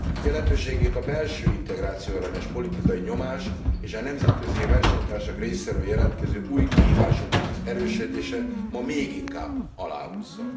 Jelentőségét a belső integrációellenes politikai nyomás, és a nemzetközi versenytársak részéről jelentkező új kihívások erősödése ma méginkább aláhúzza.